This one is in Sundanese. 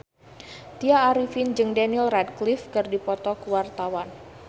Tya Arifin jeung Daniel Radcliffe keur dipoto ku wartawan